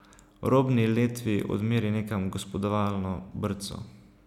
Robni letvi odmeri nekam gospodovalno brco.